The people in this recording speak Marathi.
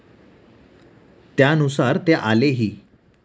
त्यानुसार ते आलेही.